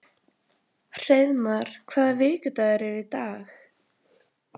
Hreiðmar, hvaða vikudagur er í dag?